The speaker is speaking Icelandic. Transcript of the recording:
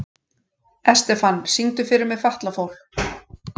Estefan, syngdu fyrir mig „Fatlafól“.